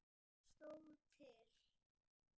Mikið stóð til.